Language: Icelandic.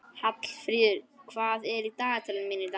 Hallfríður, hvað er í dagatalinu mínu í dag?